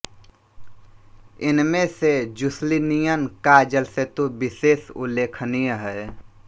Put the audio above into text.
इनमें से जुस्लीनियन का जलसेतु विशेष उल्लेखनीय है